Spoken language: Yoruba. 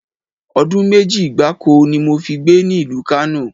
Odun meji gbáko ni mo fi gbé ní ìlú Kano